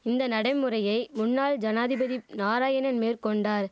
இந்த நடைமுறையை முன்னாள் ஜனாதிபதிப் நாராயணன் மேற்கொண்டார்